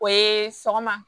O ye sɔgɔma